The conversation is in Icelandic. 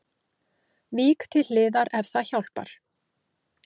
Vík til hliðar ef það hjálpar